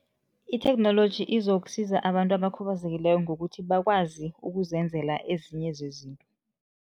Itheknoloji izokusiza abantu abakhubazekileko ngokuthi bakwazi ukuzenzela ezinye zezinto.